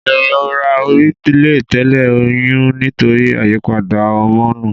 Ìrora orí lè tẹ̀lé oyún nítorí àyípadà homonu.